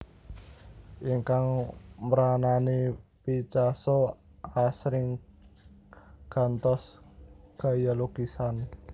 Ingkang mranani Picasso asring gantos gaya lukisan